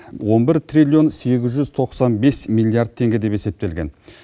он бір триллион сегіз жүз тоқсан бес миллиард теңге деп есептелген